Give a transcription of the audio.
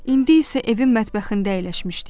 İndi isə evin mətbəxində əyləşmişdik.